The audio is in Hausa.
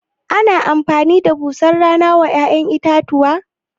Ana amfani da busar rana wa ya'yan itatuwa?